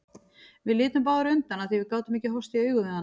Við litum báðar undan af því að við gátum ekki horfst í augu við hana.